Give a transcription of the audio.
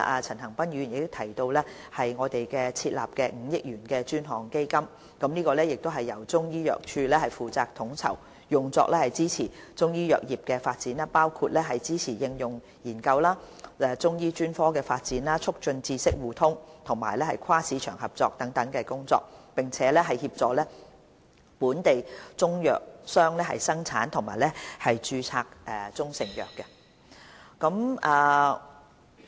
陳恒鑌議員提及我們會設立的5億元專項基金，這亦是由中醫藥處負責統籌，用作支持中醫藥業的發展，包括支持應用研究、中醫專科發展、促進知識互通和跨市場合作等工作，並協助本地中藥商的生產及註冊中成藥工作。